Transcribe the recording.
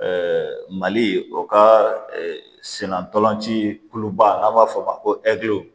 mali o ka sen na ntolan ci kuluba n'an b'a fɔ o ma ko